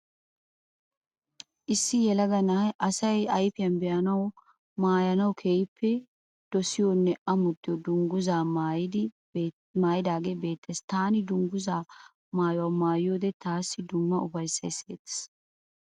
Issi yelaga na'ayi asayi ayfiyan be'anawu maayanawu keehippe dosiyonne amottiyo dungguzaa maayidagee beettees. Taani dungguzaa maayuwa maayiyode taassi dumma ufayissayi siyettees.